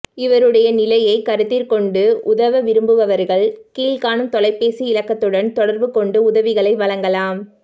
இவருடைய நிலையை கருத்திற்கொண்டு உதவ விரும்புபவர்கள் கீழ்காணும் தொலைபேசி இலக்கத்துடன் தொடர்பு கொண்டு உதவிகளை வழங்கலாம்